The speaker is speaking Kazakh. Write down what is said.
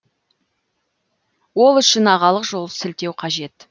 ол үшін ағалық жол сілтеу қажет